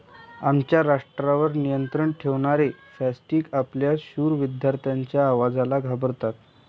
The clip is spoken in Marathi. आमच्या राष्ट्रावर नियंत्रण ठेवणारे फॅसिस्ट आपल्या शूर विद्यार्थ्यांच्या आवाजाला घाबरतात.